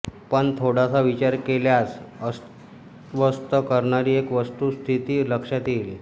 पण थोडासा विचार केल्यास अस्वस्थ करणारी एक वस्तुस्थिती लक्षात येईल